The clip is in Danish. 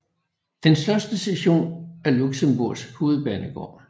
Den største station er Luxembourgs hovedbanegård